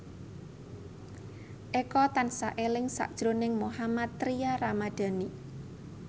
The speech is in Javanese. Eko tansah eling sakjroning Mohammad Tria Ramadhani